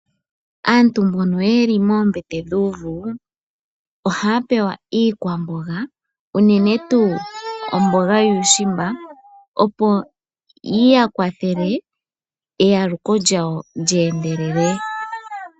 Aantu mbono yeli moombete dhuuvu ohaya pewa iikwamboga unene tuu omboga yuushimba, opo yi ya kwathele eyaluko lyawo lyeendelele.